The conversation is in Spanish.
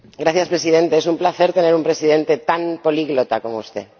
Señor Presidente, es un placer tener un presidente tan políglota como usted.